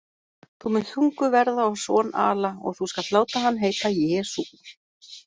Þú munt þunguð verða og son ala, og þú skalt láta hann heita JESÚ.